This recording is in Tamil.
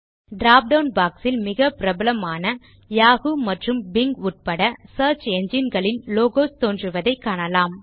டிராப் டவுன் பாக்ஸ் ல் மிகவும் பிரபலமான சியர்ச் என்ஜின் களின் Yahoo மற்றும் பிங் உட்பட லோகோஸ் தோன்றுவதை காணலாம்